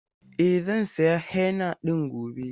E, zan sayi henna ɗin gobe.